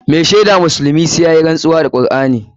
Mai shaida musulmi sai yayi rantsuwa da Kur'ani.